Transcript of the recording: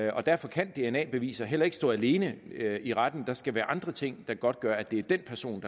og derfor kan dna beviser heller ikke stå alene i retten der skal være andre ting der godtgør at det er den person